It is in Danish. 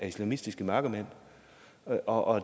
islamistiske mørkemænd og